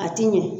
A ti ɲɛ